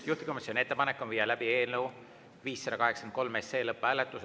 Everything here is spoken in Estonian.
Juhtivkomisjoni ettepanek on viia läbi eelnõu 583 SE lõpphääletus.